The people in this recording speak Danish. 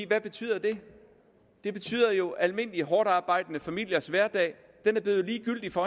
betyder det det betyder jo at almindelige hårdtarbejdende familiers hverdag er blevet ligegyldig for